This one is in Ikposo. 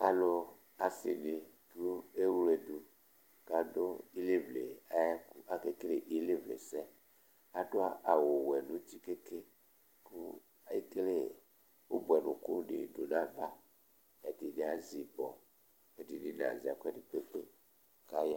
Alu, asi ni ewledu kʋ adu ilevle ayʋ ɛkʋ Akekele ilevle sɛ Adu awu wɛ nʋ ʋti ke ke kʋ ekele ʋbʋɛnʋku di du nʋ ayʋ ava Ɛdiní azɛ ibɔ Ɛdiní nazɛ ɛkʋɛdi kpekpe